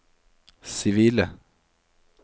sivile